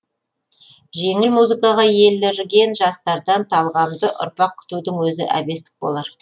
жеңіл музыкаға елірген жастардан талғамды ұрпақ күтудің өзі әбестік болар